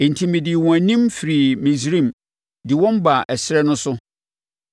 Enti medii wɔn anim firii Misraim, de wɔn baa ɛserɛ no so.